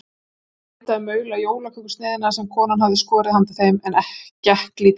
Þeir reyndu að maula jólakökusneiðina sem konan hafði skorið handa þeim en gekk lítið.